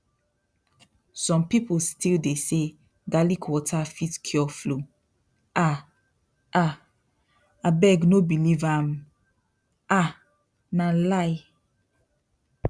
some people still dey say garlic water fit cure flu um um abeg no believe am um na lie